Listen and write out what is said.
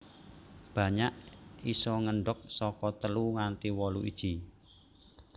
Banyak isa ngendhog saka telu nganti wolu iji